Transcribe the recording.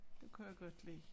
Det kan jeg godt lide